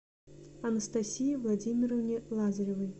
анастасии владимировне лазаревой